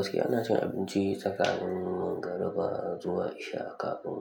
Gaskiya ina cin abinci tsakanin magaruba zuwa isha, kafin